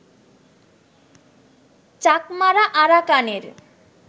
চাকমারা আরাকানের